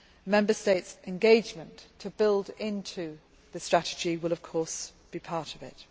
Member States' engagement to build into the strategy will, of course, be part of this.